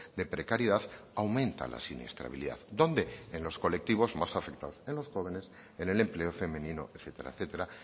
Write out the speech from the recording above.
de precariedad aumenta la siniestralidad dónde en los colectivos más afectados en los jóvenes en el empleo femenino etcétera